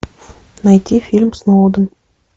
найти фильм сноуден